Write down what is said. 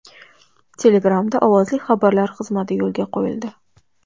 Telegram’da ovozli xabarlar xizmati yo‘lga qo‘yildi.